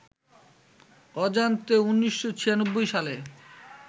অজান্তে, ১৯৯৬ সালে